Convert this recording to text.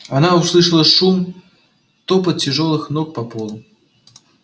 она услышала шум топот тяжёлых ног по полу